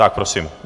Tak prosím.